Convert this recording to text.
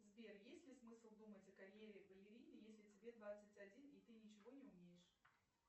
сбер есть ли смысл думать о карьере балерины если тебе двадцать один и ты ничего не умеешь